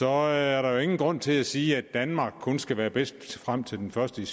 er er der jo ingen grund til at sige at danmark kun skal være bedst frem til den første